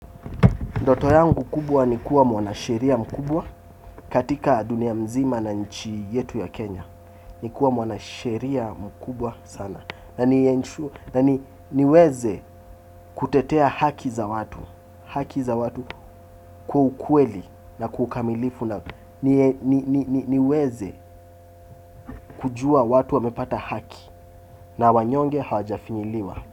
Ndoto yangu kubwa ni kuwa mwanasheria mkubwa katika dunia mzima na nchi yetu ya Kenya. Ni kuwa mwanasheria mkubwa sana. Na niweze kutetea haki za watu. Haki za watu kwa ukweli na kwa ukamilifu. Naam, niweze kujua watu wamepata haki na wanyonge hawajafinyiliwa.